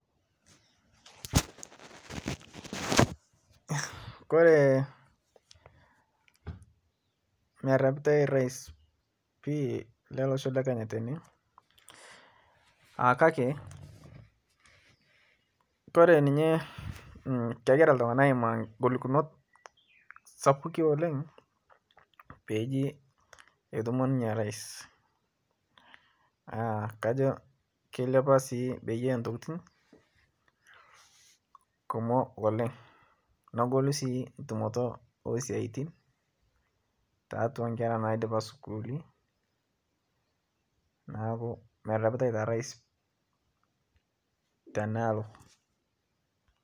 Koree merepitai rais pii le losho lekenya tene kake Kore ninye kegira ltungak aimaa ngolikinot sapuki oleng peeji etumo ninye rais kajo keilipa sii Bei e ntokin kumok oleng negolu si ntumoto esiatin tatua nkera naidipa skuuli naaku merepitai taa rais tenaalo